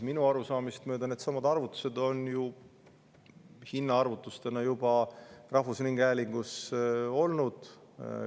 Minu arusaamist mööda needsamad hinnaarvutused on juba rahvusringhäälingus olnud.